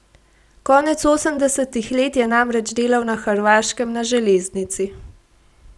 Konec osemdesetih let je namreč delal na Hrvaškem na železnici.